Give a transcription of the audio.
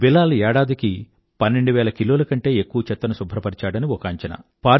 బిలాల్ ఏడాదికి పన్నెండు వేల కిలోల కంటే ఎక్కువ చెత్తను శుభ్రపరిచాడని ఒక అంచనా